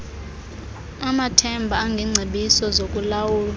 amathemba engengcebiso zokulawulwa